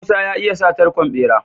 Musa ya iya sa tarkon bera?